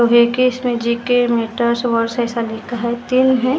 श्री कृष्ण जी के मोटर्स वर्सज़ है हे।